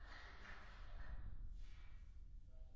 Frankly, I don't understand your point.